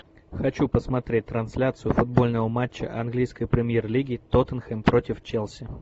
хочу посмотреть трансляцию футбольного матча английской премьер лиги тоттенхэм против челси